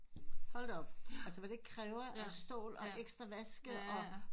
Hold da op altså hvad det kræver af stål og ekstra vaske og